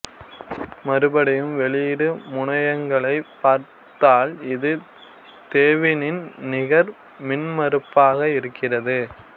மறுபடியும் வெளியீடு முனையங்களைப் பார்த்தால் இது தெவினின் நிகர் மின்மறுப்பாக இருக்கிறது